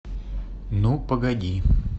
ну погоди